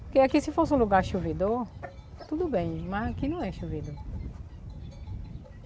Porque aqui se fosse um lugar chovedor, tudo bem, mas aqui não é chovedor.